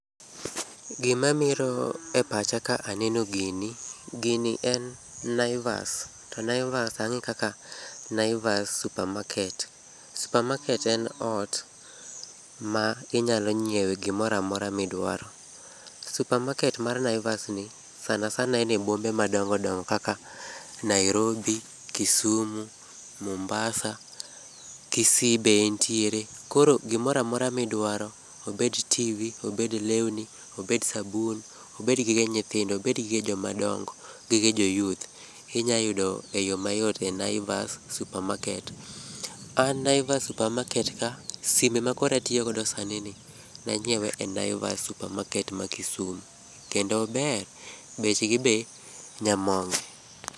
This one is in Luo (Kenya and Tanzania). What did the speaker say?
Gima miro e pacha ka aneno gini, gini en Naivas. To Naivas ang'e kaka Naivas supermarket. Supermarket en ot ma inyalo nyiewe gimoro amora midwaro. Supermarket mar Naivas ni sana sana en e bombe madongo dongo kaka Nairobi, Kisumu, Mombasa, Kisii be entiere. Koro gimora amora modwaro, obed tv , obed lewni, obed sabun, obed gige nyithindo, obed gige jomadongo, gige jo youth inyayudo e yoo mayot e Naivas supermarket. An Naivas supermarket ka, sime makoro atiyogodo sani ni, nanyiewe e Naivas suoermarket ma Kisumu, kendo ober bechgi be nyamonge.